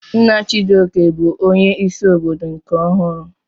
Nna Chijioke bụ onye isi obodo nke ọhụrụ.